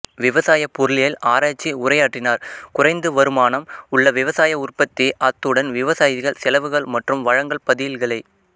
விவசாய பொருளியல் ஆராய்ச்சி உரையாற்றினார் குறைந்து வருமானம் உள்ள விவசாய உற்பத்தி அத்துடன் விவசாயிகள் செலவுகள் மற்றும் வழங்கல் பதில்களை